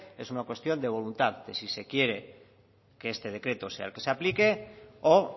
es una cuestión de voluntad de si se quiere que este decreto sea el que se aplique o